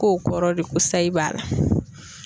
K'o kɔrɔ de ko sayi b'a la.